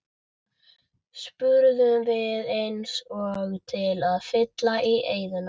spurðum við eins og til að fylla í eyðuna.